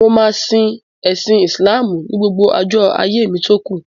Mo máa ṣe ẹ̀sin Ìsìláàmù ní gbogbo ọjọ́ ayé mi tókù.